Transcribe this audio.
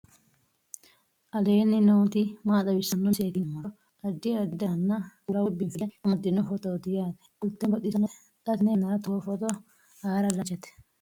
aleenni nooti maa xawisanno misileeti yinummoro addi addi dananna kuula woy biinfille amaddino footooti yaate qoltenno baxissannote xa tenne yannanni togoo footo haara danchate